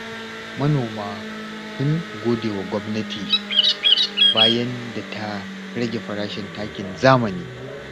Manoma sun godewa gwamnati, bayan da ta rage farashin takin zamani.